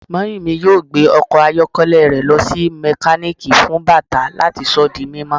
Mummy yoo gbe ọkọ ayọkẹlẹ rẹ lọ si mekaniki fun bata lati sọ di mimọ